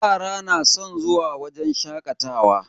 Yara na san zuwa wajen shakatawa.